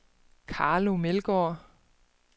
Carlo Meldgaard